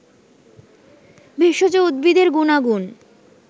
ভেষজ উদ্ভিদের গুনাগুন